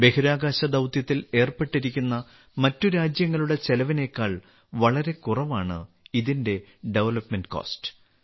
ബഹിരാകാശ ദൌത്യത്തിൽ ഏർപ്പെട്ടിരിക്കുന്ന മറ്റ് രാജ്യങ്ങളുടെ ചെലവിനേക്കാൾ വളരെ കുറവാണ് ഇതിന്റെ നിർമ്മാണ ചെലവ്